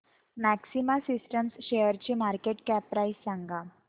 maxima Systems शेअरची market cap price सांगा